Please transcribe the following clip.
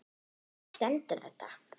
Hvar stendur þetta?